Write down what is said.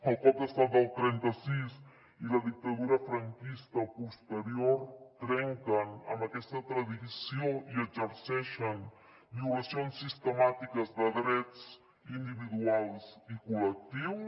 el cop d’estat del trenta sis i la dictadura franquista posterior trenquen amb aquesta tradició i exerceixen violacions sistemàtiques de drets individuals i col·lectius